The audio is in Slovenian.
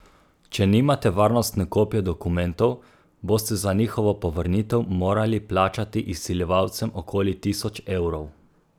Če nimate varnostne kopije dokumentov, boste za njihovo povrnitev morali plačati izsiljevalcem okoli tisoč evrov!